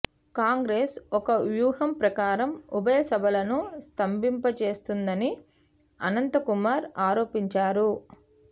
కాంగ్రె స్ ఒక వ్యూహం ప్రకారం ఉభయ సభలను స్తంభింపజేస్తోందని అనంతకుమార్ ఆరోపించారు